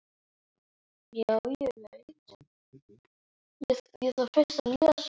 Var mjólkin svona vond?